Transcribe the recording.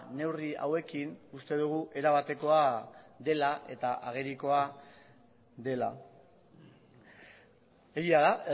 neurri hauekin uste dugu erabatekoa dela eta agerikoa dela egia da